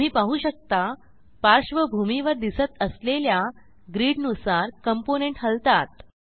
तुम्ही पाहु शकता पार्श्वभूमीवर दिसत असलेल्या ग्रिड नुसार कॉम्पोनेंट हलतात